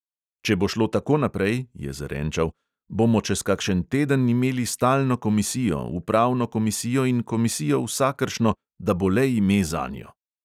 "Če bo šlo tako naprej," je zarenčal, "bomo čez kakšen teden imeli stalno komisijo, upravno komisijo in komisijo vsakršno, da bo le ime zanjo."